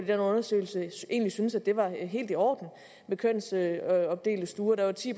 den undersøgelse egentlig syntes at det var helt i orden med kønsopdelte stuer der var ti